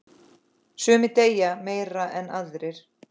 Sumir deyja meira en aðrir.